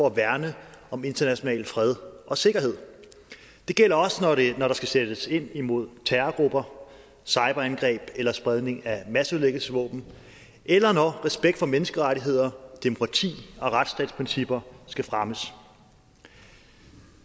at værne om international fred og sikkerhed det gælder også når der skal sættes ind imod terrorgrupper cyberangreb eller spredning af masseødelæggelsesvåben eller når respekt for menneskerettigheder demokrati og retsstatsprincipper skal fremmes